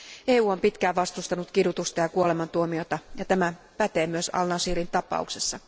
EU on pitkään vastustanut kidutusta ja kuolemantuomiota ja tämä pätee myös al Nashirin tapauksessa.